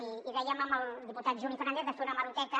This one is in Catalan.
i dèiem amb el diputat juli fernàndez de fer una hemeroteca